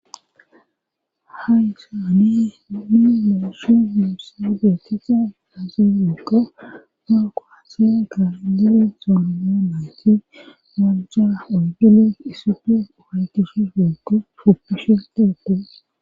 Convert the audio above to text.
Hayysaani ni muushu mu sigeti ta azeeko no koathe ga indele sonmonake nunga ugile isifi wayytishe hiego fufishe tege